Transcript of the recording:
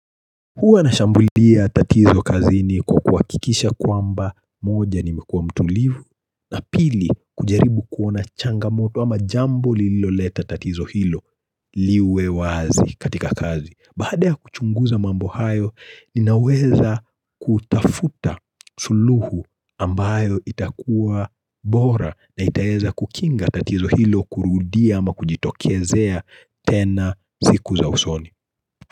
Huwa na shambulia tatizo kazini kwa kuhakikisha kwamba, moja nimekuwa mtulivu na pili, kujaribu kuona changamoto ama jambo lililoleta tatizo hilo liwe wazi katika kazi. Baada ya kuchunguza mambo hayo, ninaweza kutafuta suluhu ambayo itakuwa bora na itaweza kukinga tatizo hilo kurudia ama kujitokezea tena siku za usoni.